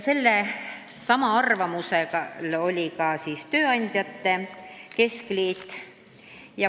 Sellelsamal arvamusel oli ka tööandjate keskliit.